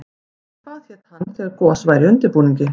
Hvað héti hann þegar gos væri í undirbúningi?